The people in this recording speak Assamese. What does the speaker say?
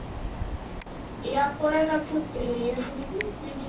ইয়াত কৰে তাতচোন হেৰি আছে নেকি clinic